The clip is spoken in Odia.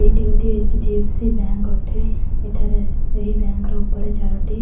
ଏଇଠି ଗୋଟେ ଏଚ_ଡି_ଏଫ_ସି ବ୍ୟାଙ୍କ ଅଠେ ଏଠାରେ ଏହି ବ୍ୟାଙ୍କ ର ଓପରେ ଚାରୋଟି।